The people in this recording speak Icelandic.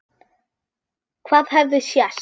Hvað hefði sést?